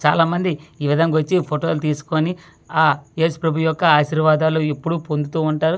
చాలా మంది వచ్చి ఈ విధంగా ఫోటోలు తీసుకొని ఆ ఏసు ప్రభు యొక్క ఆశీర్వాదాలు ఎప్పుడు పొందుతూ ఉంటారు.